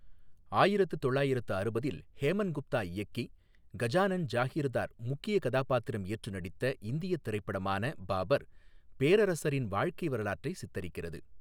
ஆயிரத்து தொள்ளாயிரத்து அறுபதில் ஹேமன் குப்தா இயக்கி, கஜானன் ஜாகிர்தார் முக்கிய கதாபாத்திரம் ஏற்று நடித்த இந்தியத் திரைப்படமான பாபர், பேரரசரின் வாழ்க்கை வரலாற்றை சித்தரிக்கிறது.